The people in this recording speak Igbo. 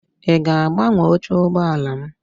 Ị ga-agbanwe oche ụgbọala m?